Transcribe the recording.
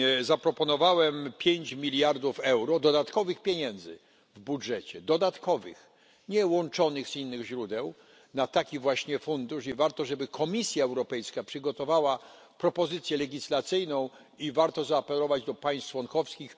Zaproponowałem pięć miliardów euro dodatkowych pieniędzy w budżecie, dodatkowych, nie łączonych z innych źródeł, na taki właśnie fundusz i warto żeby Komisja Europejska przygotowała propozycję legislacyjną i warto zaapelować do państw członkowskich.